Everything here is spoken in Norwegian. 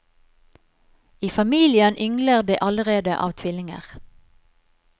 I familien yngler det allerede av tvillinger.